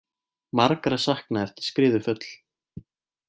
Margra saknað eftir skriðuföll